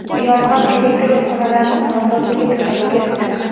Yong‘in elektr uskunalarning nosozligi tufayli kelib chiqqan.